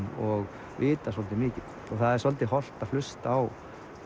og vita svolítið mikið það er svolítið hollt að hlusta á